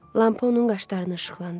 Lampa onun qaşlarını işıqlandırır.